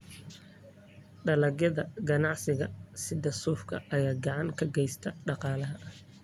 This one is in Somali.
Dalagyada ganacsiga sida suufka ayaa gacan ka geysta dhaqaalaha.